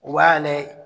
U b'a lajɛ